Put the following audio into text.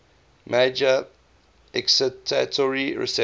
major excitatory receptor